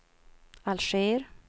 Alger